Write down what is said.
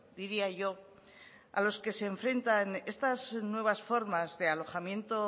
diría yo a los que se enfrentan estas nuevas formas de alojamiento